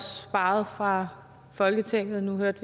sparet fra folketingets